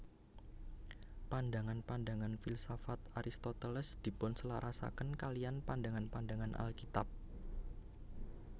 Pandangan pandangan filsafat Aristoteles dipunselarasaken kaliyan pandangan pandangan Alkitab